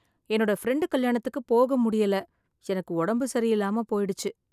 என்னோட பிரண்டு கல்யாணத்துக்கு போக முடியல எனக்கு உடம்பு சரியில்லாம போய்டுச்சு.